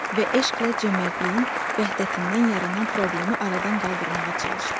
Və eşqlə cömərdliyin vəhdətindən yaranan problemi aradan qaldırmağa çalışdı.